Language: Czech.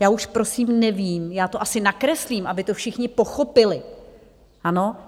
Já už prosím nevím, já to asi nakreslím, aby to všichni pochopili, ano?